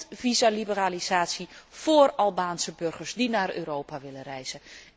Er komt visa liberalisatie voor Albanese burgers die naar Europa willen reizen.